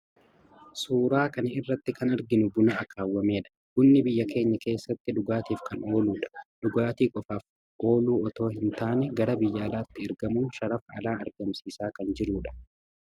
Suuraa kana irratti kan arginu buna akaawwamedha. Bunni biyya keenya keessatti dhugaatiif kan ooludha. Dhugaatii qofaaf ooluu otoo hin taane gara biyya alaatti ergamuun sharafa alaa argamsiisaa kan jiruu dha.